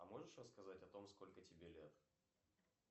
а можешь рассказать о том сколько тебе лет